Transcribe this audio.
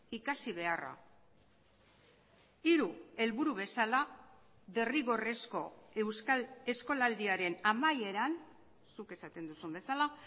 ikasi beharra hiru helburu bezala derrigorrezko euskal eskolaldiaren amaieran zuk esaten duzun bezala